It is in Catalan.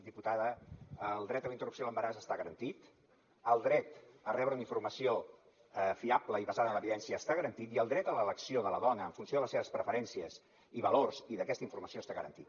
diputada el dret a la interrupció de l’embaràs està garantit el dret a rebre una informació fiable i basada en l’evidència està garantit i el dret a l’elecció de la dona en funció de les seves preferències i valors i d’aquesta informació està garantit